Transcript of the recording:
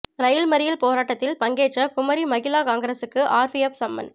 ரயில் மறியல் போராட்டத்தில் பங்கேற்ற குமரி மகிளா காங்கிரசாருக்கு ஆர்பிஎப் சம்மன்